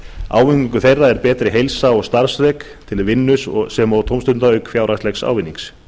ávinningur þeirra er betri heilsa og starfsþrek til vinnu sem og tómstunda auk fjárhagslegs ávinnings